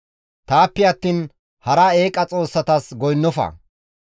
«Taappe attiin hara eeqa xoossatas goynnofa.